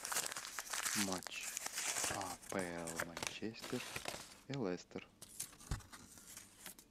матч апл манчестер и лестер